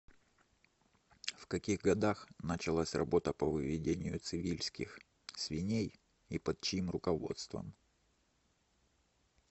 в каких годах началась работа по выведению цивильских свиней и под чьим руководством